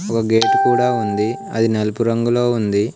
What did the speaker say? ఓ gate కూడా ఉంది అది నలుపు రంగులో ఉంది.